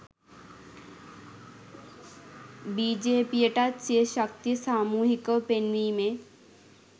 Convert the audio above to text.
බිජේපීයටත් සිය ශක්තිය සාමූහිකව පෙන්වීමේ